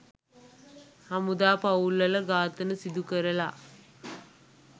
හමුදා පවුල්වල ඝාතන සිදු කරලා